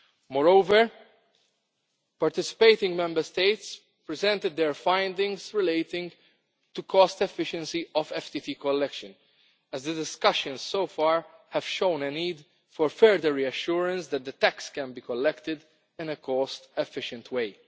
Moreover, participating Member States presented their findings relating to the cost efficiency of FTT collection as the discussions so far have shown a need for further reassurance that the tax can be collected in a cost efficient way.